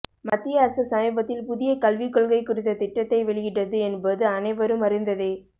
மத்திய அரசு சமீபத்தில் புதிய கல்விக் கொள்கை குறித்த திட்டத்தை வெளியிட்டது என்பது அனைவரும் அறிந்ததே